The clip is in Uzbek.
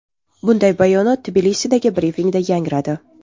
Bunday bayonot Tbilisidagi brifingda yangradi.